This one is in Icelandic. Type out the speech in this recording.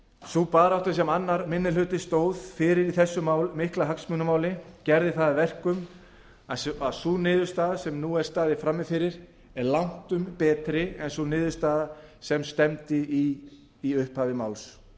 sú barátta sem annar minni hluti stóð fyrir í þessu mikla hagsmunamáli gerði það að verkum að sú niðurstaða sem nú er staðið frammi fyrir er langtum betri en sú niðurstaða sem í stefndi í upphafi málsins